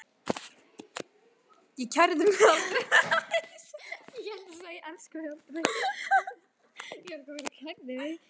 Ég kærði mig aldrei um að eignast börn.